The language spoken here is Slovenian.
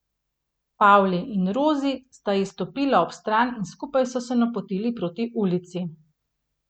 Pavli in Rozi sta ji stopila ob stran in skupaj so se napotili proti ulici.